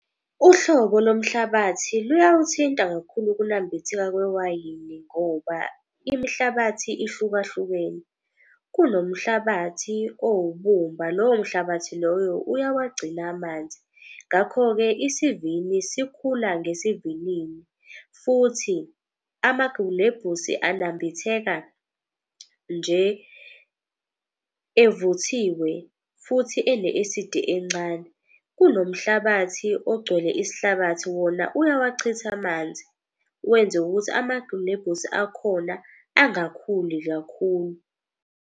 Uhlobo lomhlabathi luyawuthinta kakhulu ukunambitheka kwewayini ngoba imihlabathi ahlukahlukene kunomhlabathi owubumba lowo mhlabathi loyo uyawagcina amanzi, ngakho-ke isivini sikhula ngesivinini futhi amagilebhisi anambitheka nje evuthiwe futhi ene-esidi encane. Kunomhlabathi ogcwele isihlabathi wona uyawachitha amanzi, wenze ukuthi amagilebhisi akhona angakhuli kakhulu.